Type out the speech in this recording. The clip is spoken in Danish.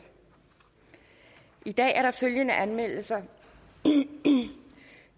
i dag er der følgende anmeldelser